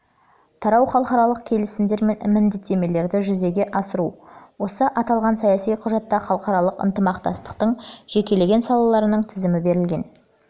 тарау халықаралық келісімдер мен міндеттемелерді жүзеге асыру осы аталған саяси құжатта халықаралық ынтымақтастықтың жекелеген салаларының тізімі берілген